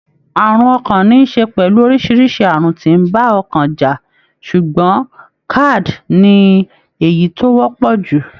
Àrùn ọkàn níí ṣe pẹ̀lú orísirísi àrùn tí ń bá ọkàn jà ṣùgbọ́n CAD ní èyí tó wọ́pọ̀ jù.